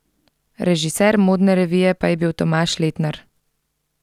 Režiser modne revije pa je bil Tomaž Letnar.